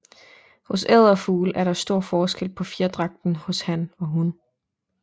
Hos edderfugl er der stor forskel på fjerdragten hos han og hun